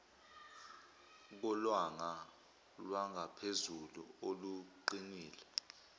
kolwanga lwangaphezulu oluqinile